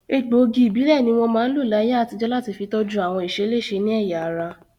Egbòogi ìbílẹ̀ ní wọ́n máa ń lò láyé àtijọ́ láti fi tọ́jú àwọn ìṣeléṣe ní ẹ̀yà ara